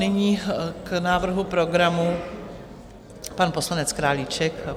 Nyní k návrhu programu pan poslanec Králíček.